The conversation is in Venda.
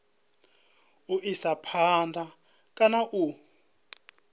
u isa phanda kana u